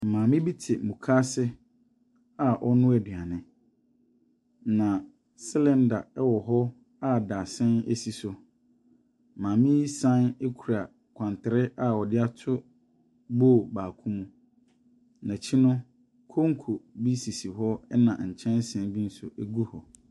Maame bi te mukaase a ɔrenoa aduane, na cylinder wɔ hɔ a dadesɛn si so. Maame yi san kura kwantere a ɔde ato bowl baako mu. N'akyi no, konko bi sisi hɔ, ɛnna nkyɛnse bi nso gu hɔ.